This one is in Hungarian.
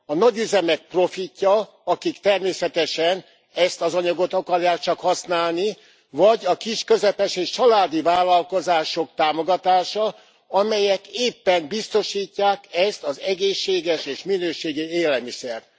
A nagyüzemek profitja, akik természetesen ezt az anyagot akarják csak használni, vagy a kis közepes és családi vállalkozások támogatása, amelyek éppen biztosítják ezt az egészséges és minőségi élelmiszert.